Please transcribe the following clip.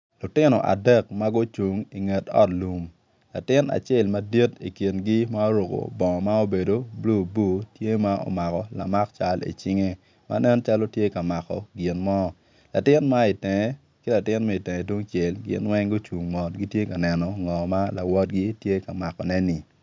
Lutino adek ma gucung inget ot lum latin acel madit i kingi ma oruku bongo ma obedo bulu bulu tye ma omako lamak cal icinge ma nen calo tye ka mako gin mo latin ma itenge ki latin ma itenge tungcel gin weng gucung mot gitye ka neno ngo ma lawotgi tye ka makone-ni